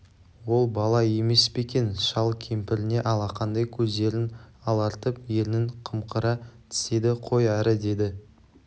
ол бала емес пе екен шал кемпіріне алақандай көздерін алартып ернін қымқыра тістеді қой әрі деді